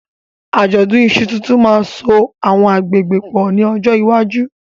Àjọ̀dún iṣu tuntun máa ń so àwọn agbègbè pọ̀ ní ọjọ́ iwájú.